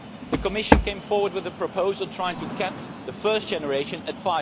The Commission came forward with a proposal trying to cap the first generation at